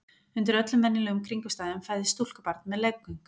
undir öllum venjulegum kringumstæðum fæðist stúlkubarn með leggöng